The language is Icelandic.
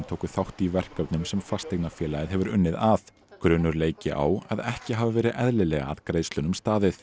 tóku þátt í verkefnum sem fasteignafélagið hefur unnið að grunur leiki á að ekki hafi verið eðlilega að greiðslunum staðið